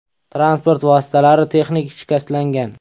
Transport vositalari texnik shikastlangan.